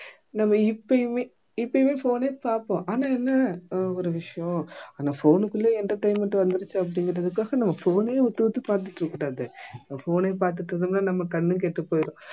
நம்ம இப்பயுமே இப்பயும் phone ஏ பாப்போம் ஆனா என்ன அஹ் ஒரு விஷயம் ஆனா phone குள்ளயே entertainment வந்திருச்சு அப்படிங்கறதுக்காக நம்ம phone அயே உத்து உத்து பார்த்திட்டிருக்க கூடாது phone அயே பார்த்திட்டிருந்தோம்னா நம்ம கண்ணும் கெட்டுப் போயிடும்